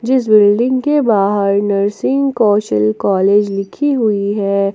इस बिल्डिंग के बाहर नर्सिंग कौशल कॉलेज लिखी हुई है।